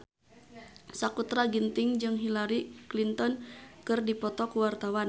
Sakutra Ginting jeung Hillary Clinton keur dipoto ku wartawan